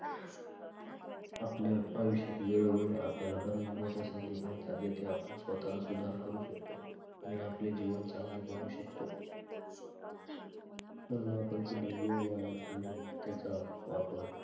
आपल्या आयुष्यात वेळोवेळी आपल्याला बऱ्याच मोठ्या संधी मिळतात जेथे आपण स्वतःचा सुधार करू शकतो आणि आपले जीवन चांगले बनवू शकतो. म्हणून आपण कधीही वेळ वाया घालवू नये, त्याचा वापर